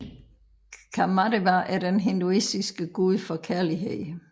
Kāmadeva er den hinduistiske gud for kærlighed